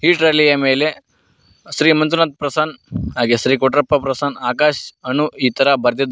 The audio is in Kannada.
ಈ ಟ್ರಾಲಿ ಯ ಮೇಲೆ ಶ್ರೀ ಮಂಜುನಾಥ್ ಪ್ರಸನ್ ಹಾಗೆ ಶ್ರೀ ಕೊಟ್ರಪ್ಪ ಪ್ರಸನ್ ಆಕಾಶ್ ಅನ್ನು ಈ ತರ ಬರ್ದಿದ್ದಾ--